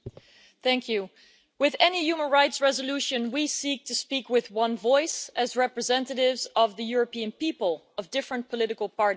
Mr President, with any human rights resolution we seek to speak with one voice, as representatives of the European people and of different political parties.